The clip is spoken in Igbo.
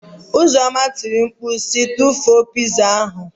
Uzoma tiri mkpu si, tụfuo pịzaa ahụ.